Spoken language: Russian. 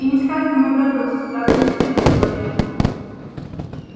и несказанно ему обрадовался здравствуй максимыч сказал я ему